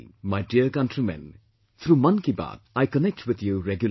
My dear country men, through Mann Ki Baat, I connect with you regularly